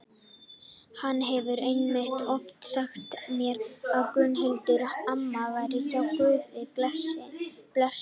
Hann hefur einmitt oft sagt mér að Gunnhildur amma væri hjá Guði blessunin.